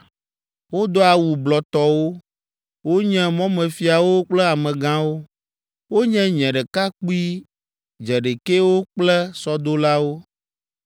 wodoa awu blɔtɔwo, wonye mɔmefiawo kple amegãwo, wonye nye ɖekakpui dzeɖekɛwo kple sɔdolawo.